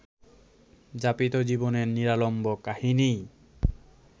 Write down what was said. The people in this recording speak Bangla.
যাপিত জীবনের নিরালম্ব কাহিনিই